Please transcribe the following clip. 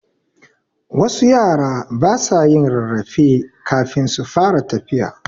Wasu yara basa yin rarrafe kafin su fara tafiya